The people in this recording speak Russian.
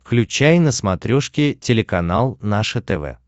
включай на смотрешке телеканал наше тв